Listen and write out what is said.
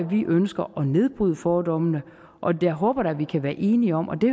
vi ønsker at nedbryde fordommene jeg håber da vi kan være enige om og det